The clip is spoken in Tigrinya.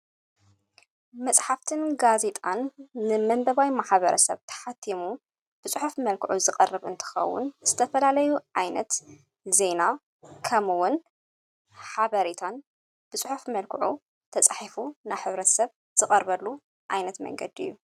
መጽሕፍትን ጋዜጣን ንመንበባዊ መሓበረ ሰብ ተሓቲሙ ብፁሒፍ መልክዑ ዝቐርብ እንትኸውን ዝተፈላለዩ ኣይነት ዜና ከምውን ሓበሬታን ብጽሑፍ መልክዑ ተጽሒፉ ናሕብረት ሰብ ዝቐርበሉ ኣይነት መንገድ እዩ::